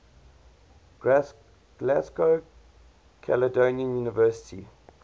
glasgow caledonian university